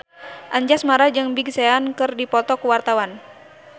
Anjasmara jeung Big Sean keur dipoto ku wartawan